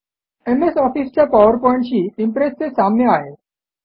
MS ऑफिस च्या पॉवरपॉईंटशी इम्प्रेसचे साम्य आहे